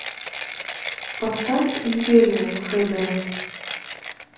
поставь империя хэ дэ